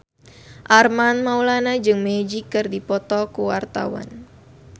Armand Maulana jeung Magic keur dipoto ku wartawan